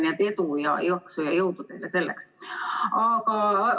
Nii et edu, jaksu ja jõudu teile selleks!